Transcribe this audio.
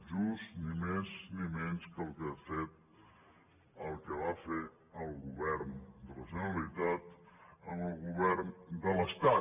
just ni més ni menys el que ha fet el que va fer el govern de la generalitat amb el govern de l’estat